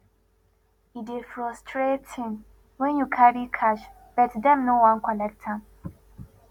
e dey frustrating wen you carry cash but dem no wan collect am